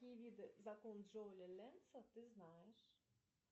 какие виды закона джоуля ленца ты знаешь